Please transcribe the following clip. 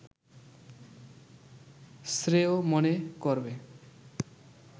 শ্রেয় মনে করবে